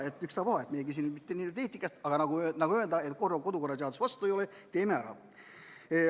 Ükstapuha, küsimus ei ole mitte niivõrd eetikas ja, nagu öeldud, kodukorraseaduse vastu see ei ole, nii et teeme ära.